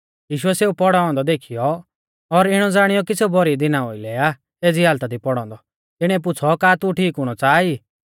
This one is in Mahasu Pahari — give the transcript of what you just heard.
यीशुऐ सेऊ पौड़ौ औन्दौ देखीयौ और इणौ ज़ाणियौ कि सेऊ भौरी दिना ओउलै आ एज़ी हालता दी पौड़ौ औन्दौ तिणीऐ पुछ़ौ का तू ठीक हुणौ च़ाहा ई